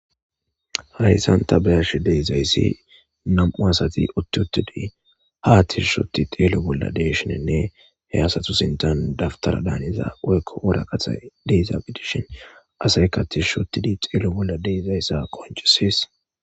hayssan ta bayash de'izayssi nam7u asati utti uttidi ha tishi uttid xeelo bolla de'ishinenne he asatu sintan daftara daaniza woyko woraqata de'iza gidishin asayka tishi urtidi xeelo bolla de'izayssa qoncises